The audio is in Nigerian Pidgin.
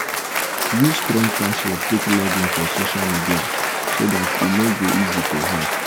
use strong password take login for social media so dat e no go easy to hack